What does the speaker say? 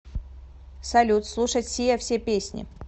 салют слушать сиа все песни